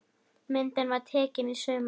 Myndin var tekin í sumar.